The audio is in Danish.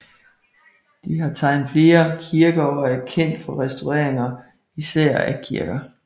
De har tegnet flere kirker og er kendt for restaureringer især af kirker